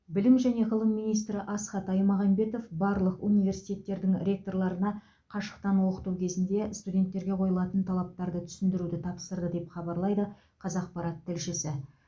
білім және ғылым министрі асхат аймағамбетов барлық университеттердің ректорларына қашықтан оқыту кезінде студенттерге қойылатын талаптарды түсіндіруді тапсырды деп хабарлайды қазақпарат тілшісі